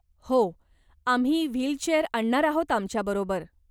हो आम्ही व्हीलचेअर आणणार आहोत आमच्याबरोबर.